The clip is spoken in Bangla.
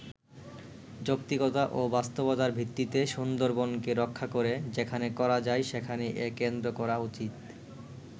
যৌক্তিকতা ও বাস্তবতার ভিত্তিতে সুন্দরবনকে রক্ষা করে যেখানে করা যায় সেখানেই এ কেন্দ্র করা উচিত”।